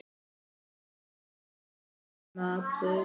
Þar er enginn maður.